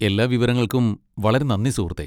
എല്ലാ വിവരങ്ങൾക്കും വളരെ നന്ദി, സുഹൃത്തേ.